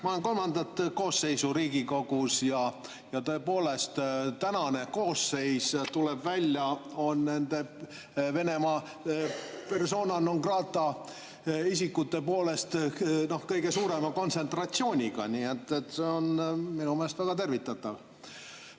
Ma olen kolmandat koosseisu Riigikogus ja tõepoolest tuleb välja, et praegune koosseis on Venemaa persona non grata'de kõige suurema kontsentratsiooniga, nii et see on minu meelest väga tervitatav.